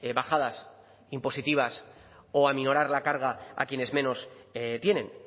bajadas impositivas o aminorar la carga a quienes menos tienen